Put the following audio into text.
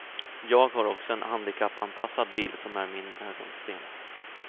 Jag har också en handikappanpassad bil som är min ögonsten.